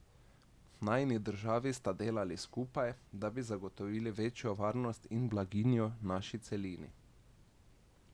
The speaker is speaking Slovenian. Najini državi sta delali skupaj, da bi zagotovili večjo varnost in blaginjo naši celini.